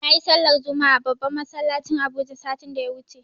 Nayi sallar juma'a a babban masallacin habuja satin da ya wuce